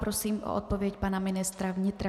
Prosím o odpověď pana ministra vnitra.